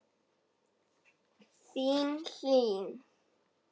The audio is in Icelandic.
Þín Hlín.